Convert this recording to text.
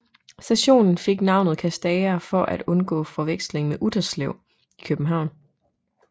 Stationen fik navnet Kastager for at undgå forveksling med Utterslev i København